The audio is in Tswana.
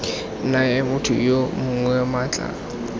naya motho yo mongwe maatla